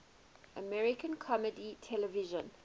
american comedy television